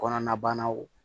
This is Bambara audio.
Kɔnɔnabanaw